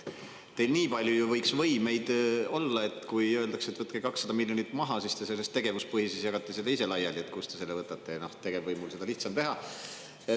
Teil nii palju ju võiks võimeid olla, et kui öeldakse, et võtke 200 miljonit maha, siis te sellest tegevuspõhisest jagate seda ise laiali, kust te selle võtate, tegevvõimul on seda lihtsam teha.